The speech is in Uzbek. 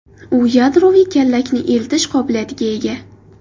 U yadroviy kallakni eltish qobiliyatiga ega.